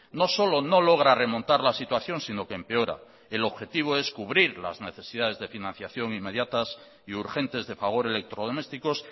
no solo no logra remontar la situación sino que empeora el objetivo es cubrir las necesidades de financiación inmediatas y urgentes de fagor electrodomésticos